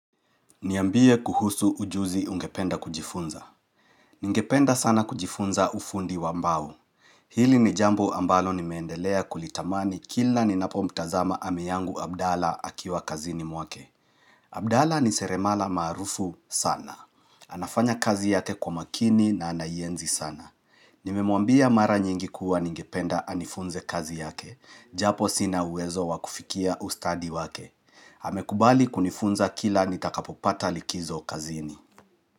Niambie kuhusu ujuzi ungependa kujifunza. Ningependa sana kujifunza ufundi wa mbao. Hili ni jambo ambalo nimeendelea kulitamani kila ninapo mtazama ami yangu Abdala akiwa kazini mwake. Abdala ni seremala maarufu sana. Anafanya kazi yake kwa makini na anaienzi sana. Nimemwambia mara nyingi kuwa ningependa anifunze kazi yake. Japo sina uwezo wa kufikia ustadi wake. Amekubali kunifunza kila nitakapopata likizo kazini.